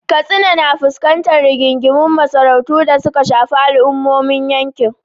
Katsina na fuskantar rigingimun masarautu da suka shafi al’ummomin yankin.